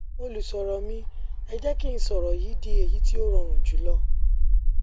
olùṣòro mi ẹ jẹ kí n sọrọ yìí n sọrọ yìí di èyí tí ó rọrùn jù lọ